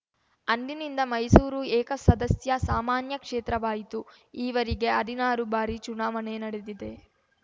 ಅಂದಿನಿಂದ ಮೈಸೂರು ಏಕಸದಸ್ಯ ಸಾಮಾನ್ಯ ಕ್ಷೇತ್ರವಾಯಿತು ಈವರೆಗೆ ಹದಿನಾರು ಬಾರಿ ಚುನಾವಣೆ ನಡೆದಿದೆ